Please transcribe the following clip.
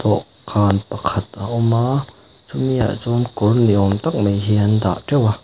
dawhkan pakhat a awm a chumi ah chuan kawr ni awm tak mai hi an dah teuh a.